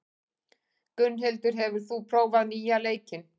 Gunnhildur, hefur þú prófað nýja leikinn?